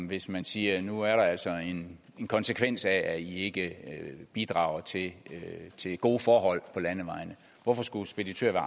hvis man siger at nu er der altså en konsekvens af at i ikke bidrager til gode forhold på landevejene hvorfor skulle speditører